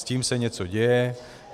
S tím se něco děje.